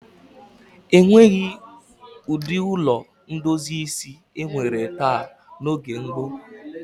E nweghi ụdị ụlọ ndozi isi e nwere taa n'oge gboo.